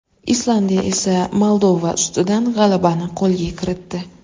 Islandiya esa Moldova ustidan g‘alabani qo‘lga kiritdi.